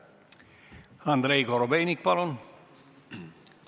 Andrei Korobeinik, palun!